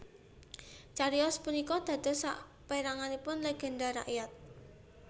Cariyos punika dados saperanganipun legenda rakyat